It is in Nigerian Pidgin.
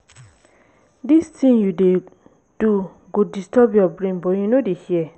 dis thing you dey do go disturb your brain but you no dey hear